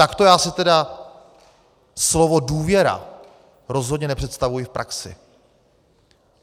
Takto já si tedy slovo důvěra rozhodně nepředstavuji v praxi.